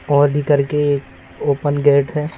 और भी करके एक ओपन गेट है।